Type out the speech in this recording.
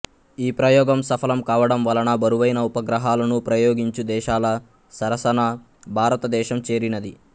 ఈ ప్రయోగం సఫలం కావడం వలన బరువైన ఉపగ్రహాలను ప్రయోగించు దేశాల సరసన భారత దేశం చేరినది